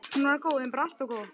Hún var góð, en bara allt of góð.